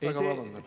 Väga vabandan!